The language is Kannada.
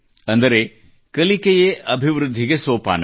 ಅಂದರೆ ಕಲಿಕೆಯೇ ಅಭಿವೃದ್ಧಿಗೆ ಸೋಪಾನ